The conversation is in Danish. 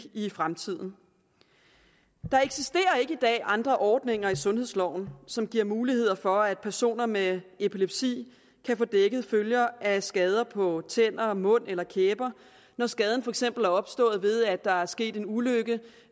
i fremtiden der eksisterer ikke i dag andre ordninger i sundhedsloven som giver mulighed for at personer med epilepsi kan få dækket følger af skader på tænder mund eller kæber når skaden for eksempel er opstået ved at der er sket en ulykke